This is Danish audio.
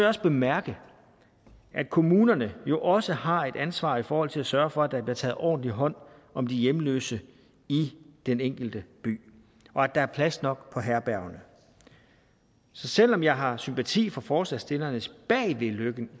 også bemærke at kommunerne jo også har et ansvar i forhold til at sørge for at der bliver taget ordentligt hånd om de hjemløse i den enkelte by og at der er plads nok på herbergerne så selv om jeg har sympati for forslagsstillernes